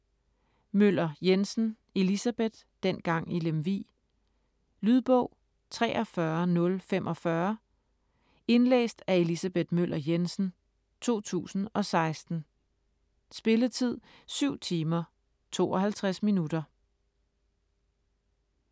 Møller Jensen, Elisabeth: Dengang i Lemvig Lydbog 43045 Indlæst af Elisabeth Møller Jensen, 2016. Spilletid: 7 timer, 52 minutter.